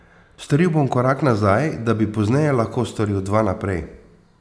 Storil bom korak nazaj, da bi pozneje lahko storil dva naprej.